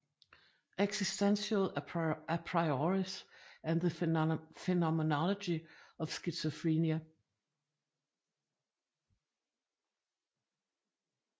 Existential a prioris and the phenomenology of schizophrenia